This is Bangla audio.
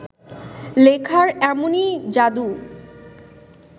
লেখার এমনই যাদু